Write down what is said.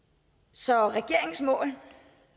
så regeringens mål